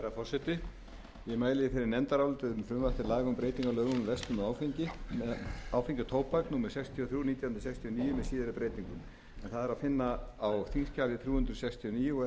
og tóbak númer sextíu og þrjú nítján hundruð sextíu og níu með síðari breytingum það er að finna á þingskjali þrjú hundruð sextíu